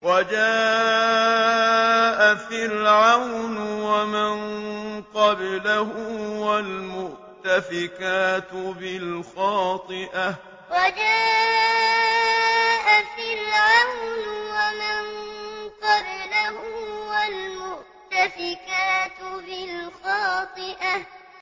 وَجَاءَ فِرْعَوْنُ وَمَن قَبْلَهُ وَالْمُؤْتَفِكَاتُ بِالْخَاطِئَةِ وَجَاءَ فِرْعَوْنُ وَمَن قَبْلَهُ وَالْمُؤْتَفِكَاتُ بِالْخَاطِئَةِ